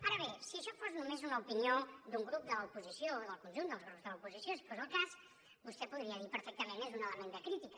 ara bé si això fos només una opinió d’un grup de l’oposició o del conjunt dels grups de l’oposició si fos el cas vostè podria dir perfectament és un element de crítica